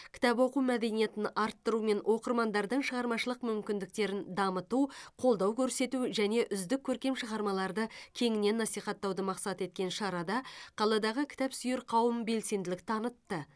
кітап оқу мәдениетін арттыру мен оқырмандардың шығармашылық мүмкіндіктерін дамыту қолдау көрсету және үздік көркем шығармаларды кеңінен насихаттауды мақсат еткен шарада қаладағы кітапсүйер қауым белсенділік танытты